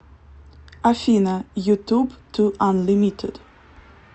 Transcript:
афина ютуб ту анлимитед